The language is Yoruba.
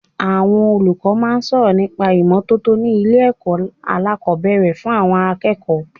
Àwọn olùkọ́ máa ń sọ̀rọ̀ nípa ìmọ́tótó ni ilé ẹ̀kọ́ alákòbẹ̀rẹ̀ fún àwọn akẹ́kọ̀ọ́.